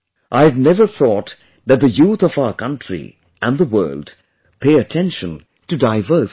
I had never thought that the youth of our country and the world pay attention to diverse things